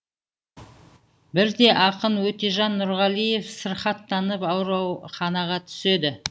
бірде ақын өтежан нұрғалиев сырқаттанып ауруханаға түседі